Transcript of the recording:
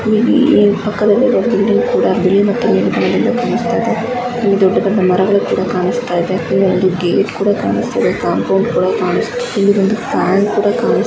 ಇಲ್ಲಿ ದೊಡ್ಡ ಬಿಲ್ಡಿಂಗ್ ಅನ್ನು ನೋಡಬಹುದು ನೀಲಿ ಬಣ್ಣದು ಕಾನಿಸ್ತಾಇದೆ ಇಲ್ಲಿ ಪಕ್ಕದದಲ್ಲಿ ಬಿಲ್ಡಿಂಗ್ ಕೂಡ ಗ್ರೇಯ್ ನೀಲಿ ಬಣ್ಣದ ಕಾನಿಸ್ತಾ ಇದೆ ಅಲ್ಲಿ ದೊಡ್ಡ ದೊಡ್ಡ ಮರಗಳು ಕೂಡ ಕಾನಿಸ್ತಾಇದೆ ಕಾಂಪೌಂಡ್ ಕೂಡ ಕಾನಿಸ್ತಾ ಇದೆ --